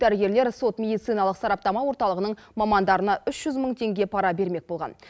дәрігерлер сот медициналық сараптама орталығының мамандарына үш жүз мың теңге пара бермек болған